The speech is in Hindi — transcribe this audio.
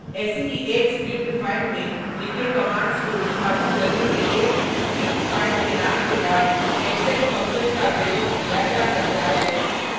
ऐसी ही एक स्क्रिप्ट फाइल में लिखे कमांड्स को निष्पादित करने के लिए स्क्रिप्ट फाइल के नाम के बाद exec फंक्शन का प्रयोग किया जा सकता है